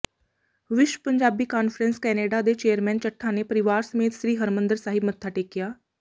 ਵਿਸ਼ਵ Punjabi conference Canada ਦੇ chairman Chatha ਨੇ ਪਰਿਵਾਰ ਸਮੇਤ ਸ੍ਰੀ ਹਰਿਮੰਦਰ ਸਾਹਿਬ ਮੱਥਾ ਟੇਕਿਆ